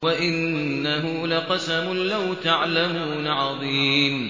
وَإِنَّهُ لَقَسَمٌ لَّوْ تَعْلَمُونَ عَظِيمٌ